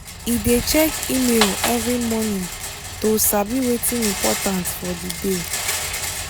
he dey check email every morning to sabi wetin important for the day.